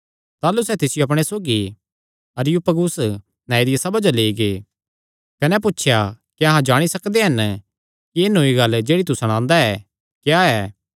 ताह़लू सैह़ तिसियो अपणे सौगी अरियुपगुस नांऐ दिया सभा जो लेई गै कने पुछया क्या अहां जाणी सकदे हन कि एह़ नौई गल्ल जेह्ड़ी तू सणांदा क्या ऐ